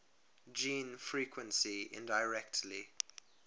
gene frequency indirectly